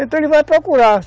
Então ele vai procurar.